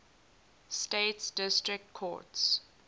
states district courts